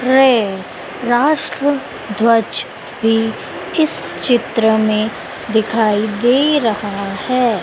राष्ट्र ध्वज भीं इस चित्र में दिखाई दे रहा हैं।